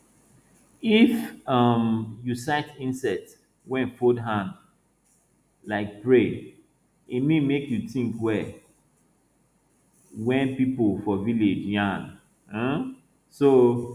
if um you sight insect wey fold hand like pray e mean make you think well wen people for village yarn um so